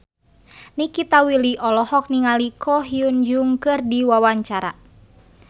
Nikita Willy olohok ningali Ko Hyun Jung keur diwawancara